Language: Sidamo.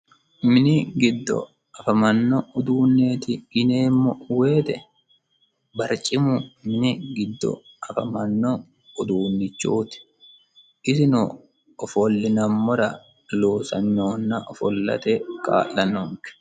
Mini giddo afamanno uduuneeti yineemmo woyite barcimu minu giddo afamanno uduunichooti isino ofollinammora loosannohonna ofollate kaa"lanonke.